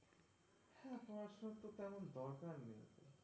হ্যাঁ পড়াশোনা তো তেমন দরকার নেই.